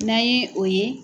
N'a ye o ye